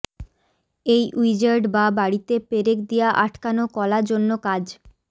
এই উইজার্ড বা বাড়ীতে পেরেক দিয়া আটকান কলা জন্য কাজ